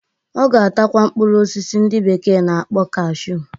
Ọ ga-atakwa mkpụrụ osisi ndị bekee na-akpọ cashu